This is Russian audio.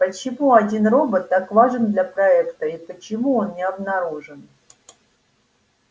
почему один робот так важен для проекта и почему он не обнаружен